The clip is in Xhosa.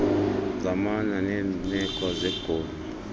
zamana neerneko zoborni